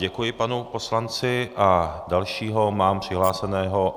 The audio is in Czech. Děkuji panu poslanci a dalšího mám přihlášeného...